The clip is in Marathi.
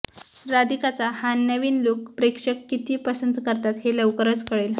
राधिकाचा हा नवीन लूक प्रेक्षक किती पसंत करतात हे लवकरच कळेल